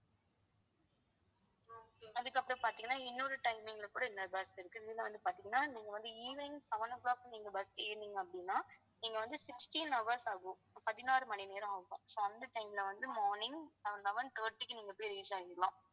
அதுக்கப்புறம் பாத்தீங்கன்னா இன்னொரு timing ல கூட இன்னொரு bus இருக்கு இதுல வந்து பாத்தீங்கன்னா நீங்க வந்து evening seven o'clock நீங்க bus ஏறுனீங்க அப்படின்னா நீங்க வந்து sixteen hours ஆகும் பதினாறு மணி நேரம் ஆகும் so அந்த time ல வந்து morning eleven thirty க்கு நீங்க போய் reach ஆயிடலாம்